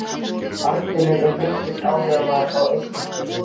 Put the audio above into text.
Arnfinnur var mikill áhrifamaður á Eskifirði.